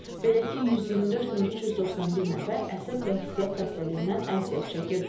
Belə ki, 124391 nəfər əsəb və hissiyyat xəstəliyindən əziyyət çəkir.